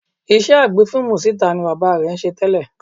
Iṣẹ́ agbé fíìmù síta ni bàbá rẹ̀ ń ṣe tẹ́lẹ̀